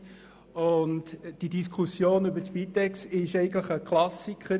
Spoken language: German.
Eigentlich ist die Diskussion über die Spitex klassisch.